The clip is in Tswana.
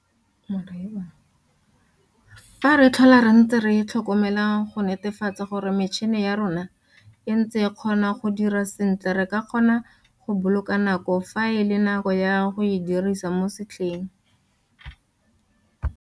Fa re tlhola re ntse re tlhokomela go netefatsa gore metšhene ya rona e ntse e kgona go dira sentle re ka kgona go boloka nako fa e le nako ya go e dirisa mo setlheng.